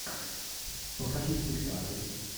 покажи спектакль